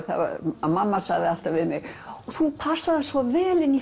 mamma sagði alltaf við mig þú passar svo vel inn í